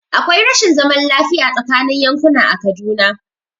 Akwai rashin zaman lafiya tsaakanin yankuna a Kaduna.